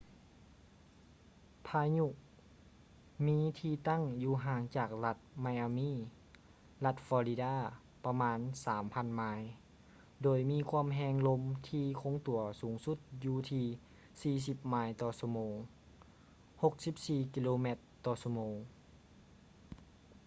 ພາຍຸມີທີ່ຕັ້ງຢູ່ຫ່າງຈາກລັດ ໄມອາມີ່ miami ລັດ ຟໍລິດາ florida ປະມານ 3,000 ໄມ ໂດຍມີຄວາມແຮງລົມທີ່ຄົງຕົວສູງສຸດຢູ່ທີ່ 40 ໄມຕໍ່ຊົ່ວໂມງ 64 ກິໂລແມັດຕໍ່ຊົ່ວໂມງ